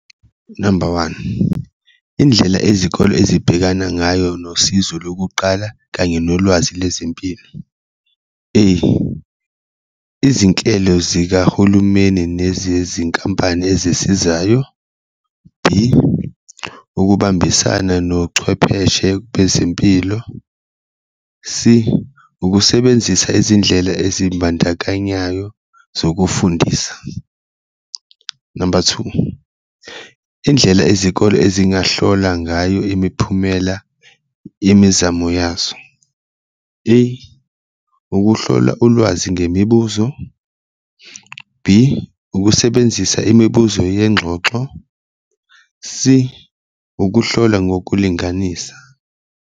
Number one, indlela ezikole ezibhekana ngayo nosizo lokuqala kanye nolwazi lezempilo, A, izinhlelo zikahulumeni nezezinkampani ezisizayo, B, ukubambisana nochwepheshe bezempilo, C, ukusebenzisa izindlela ezimbandakanyayo zokufundisa. Number two, indlela izikole ezingahlola ngayo imiphumela yemizamo yazo, A, ukuhlolwa ulwazi ngemibuzo, B, ukusebenzisa imibuzo yengxoxo, C, ukuhlolwa ngokulinganisa.